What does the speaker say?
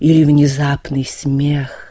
или внезапный смех